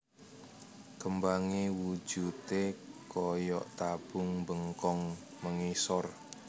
Kembangé wujudé kaya tabung mbengkong mengisor